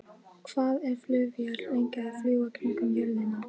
Hvað er flugvél lengi að fljúga kringum jörðina?